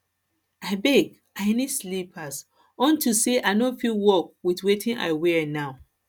abeg i need slippers unto say i no fit work with wetin i wear now